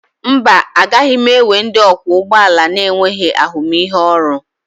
Mba, agaghị m ewe ndị ọkwọ ụgbọ ala na-enweghị ahụmịhe ọrụ